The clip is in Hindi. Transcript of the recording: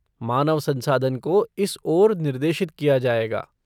मानव संसाधन को इस ओर निर्देशित किया जाएगा।